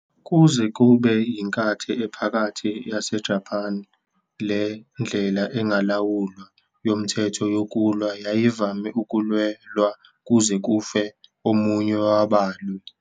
Kuze kube yiNkathi Ephakathi yaseJapan, le ndlela engalawulwa yomthetho yokulwa yayivame ukulwelwa kuze kufe omunye wabalwi.